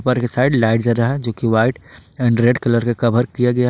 ऊपर के side light जल रहा है जो कि व्हाइट एंड रेड कलर का कवर किया गया है।